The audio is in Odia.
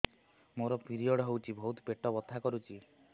ମୋର ପିରିଅଡ଼ ହୋଇଛି ବହୁତ ପେଟ ବଥା କରୁଛି